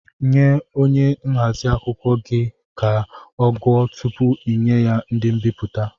Nye onye nhazi akwụkwọ gị ka ọ gụọ tụpụ inye ya ndị mbipụta!